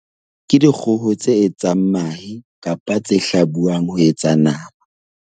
Ke dikgoho tse etsang mahe kapa tse hlabuwang ho etsa nama.